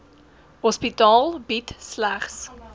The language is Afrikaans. hospitaal bied slegs